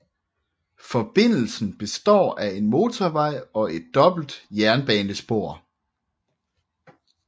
Forbindelsen består af en motorvej og et dobbelt jernbanespor